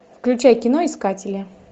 включай кино искатели